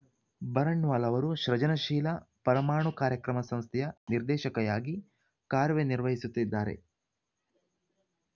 ಬರಣ್‌ವಾಲ್‌ ಅವರು ಸೃಜನಶೀಲ ಪರಮಾಣು ಕಾರ್ಯಕ್ರಮ ಸಂಸ್ಥೆಯ ನಿರ್ದೇಶಕೆಯಾಗಿ ಕಾರ್ಯನಿರ್ವಹಿಸುತ್ತಿದ್ದಾರೆ